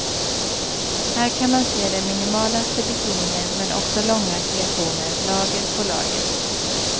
Här kan man se de minimalaste bikinier men också långa kreationer, lager på lager.